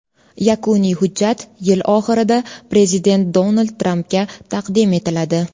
Yakuniy hujjat yil oxirida prezident Donald Trampga taqdim etiladi.